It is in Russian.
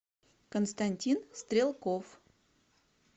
константин стрелков